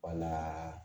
Wala